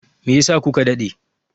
Me yasa ku ka daɗe?